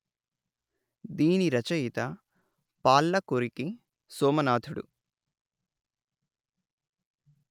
దీనిరచయిత Palkuriki Somanathudu